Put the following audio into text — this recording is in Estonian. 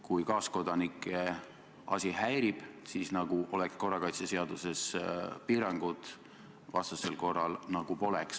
Kui kaaskodanikke asi häirib, siis nagu oleksid korrakaitseseaduses piirangud, vastasel korral nagu poleks.